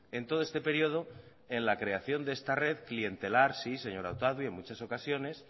en todo este periodo en la creación de esta red clientelar sí señora otadui en muchas ocasiones